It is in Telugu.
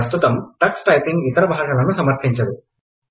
ప్రస్తుతం టక్స్ టైపింగ్ ఇతర బాషలను సమర్థించదు